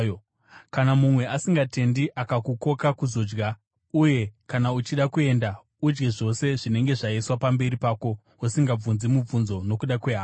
Kana mumwe asingatendi akakukoka kuzodya, uye kana uchida kuenda, udye zvose zvinenge zvaiswa pamberi pako usingabvunzi mubvunzo nokuda kwehana.